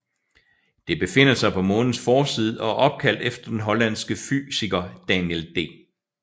Det befinder sig på Månens forside og er opkaldt efter den hollandske fysiker Daniel D